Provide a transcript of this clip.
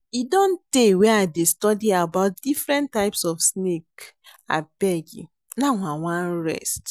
E don tey wey I dey study about different types of snake abeg now I wan rest